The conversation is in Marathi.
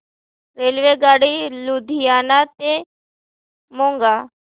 रेल्वेगाडी लुधियाना ते मोगा